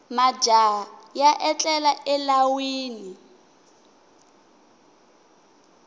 majaha ya etlela elawini